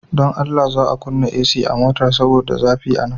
Dan Allah. za a kunna AC motar saboda zafi a nan.